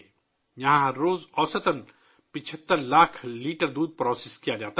یہاں روزانہ اوسطاً 75 لاکھ لیٹر دودھ پراسس کیا جاتا ہے